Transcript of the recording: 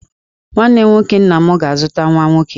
Nwanne nwoke nna m ga-azụta nwa nwoke.